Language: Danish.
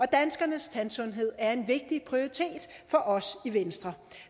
danskernes tandsundhed er en vigtig prioritet for os i venstre